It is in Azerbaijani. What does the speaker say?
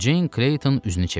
Ceyn Kleyton üzünü çevirdi.